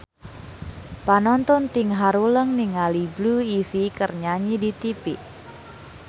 Panonton ting haruleng ningali Blue Ivy keur nyanyi di tipi